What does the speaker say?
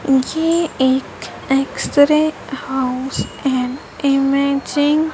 ये एक x ray house है इमैजिन --